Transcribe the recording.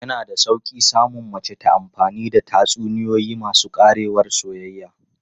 Yana da sauƙi samun mace ta amfani da tatsuniyoyi masu ƙarewar soyayya.